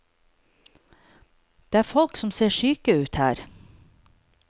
Det er folk som ser syke ut her.